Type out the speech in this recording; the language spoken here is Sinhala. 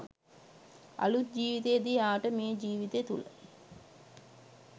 අලූත් ජීවිතයේදී එයාට මේ ජීවිතය තුළ